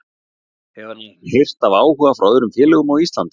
Hefur hann heyrt af áhuga frá öðrum félögum á Íslandi?